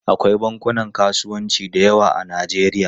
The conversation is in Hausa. Akwai bankunan kasuwanci da yawa a Najeriya.